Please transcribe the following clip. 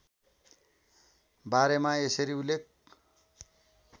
बारेमा यसरी उल्लेख